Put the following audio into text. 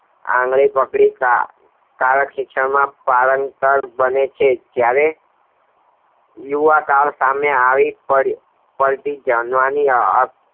આંગળી પકડી ખીચામાં નાખે છે જયારે યુવા કાળ સામે આવી પર